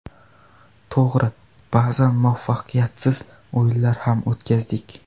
To‘g‘ri, ba’zan muvaffaqiyatsiz o‘yinlar ham o‘tkazdik.